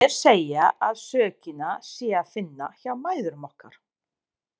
Sumir segja að sökina sé að finna hjá mæðrum okkar.